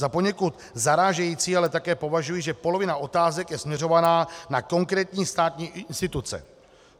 Za poněkud zarážející ale také považuji, že polovina otázek je směřovaná na konkrétní státní instituce -